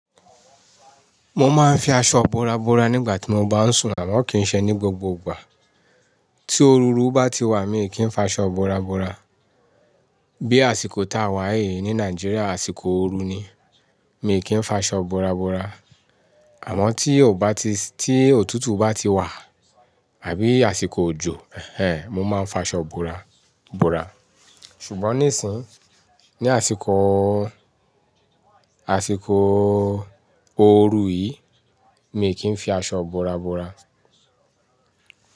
Mo máa ń fi aṣọ bora bora nígbà tí mo bá ń sún, àmọ́ kì í ṣe ní gbogbo ìgbà. Tí òru bá ti wà, mi kì í fa aṣọ bora bora. Bí àsìkò táa wà yìí ní Nàìjíríà, àsìkò ooru ni, mi kì í fa aṣọ bora bora. Àmọ́ tí ò bá ti-- tí òtútù bá ti wà àbí àsìkò òjò, ẹh ẹh, mo máa ń fa aṣọ bora bora. Ṣùgbọ́n nísìnyí, ní àsìkòò, àsìkòò ooru yìí, mi kì í fi aṣọ bora bora.